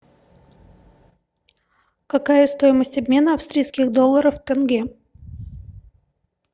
какая стоимость обмена австрийских долларов в тенге